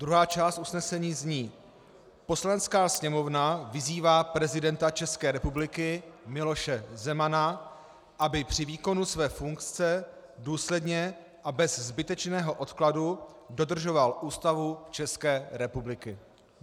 Druhá část usnesení zní: "Poslanecká sněmovna vyzývá prezidenta České republiky Miloše Zemana, aby při výkonu své funkce důsledně a bez zbytečného odkladu dodržoval Ústavu České republiky."